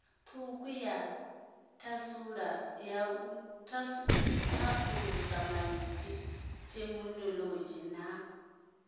thukhu ya thalusamaipfi theminolodzhi na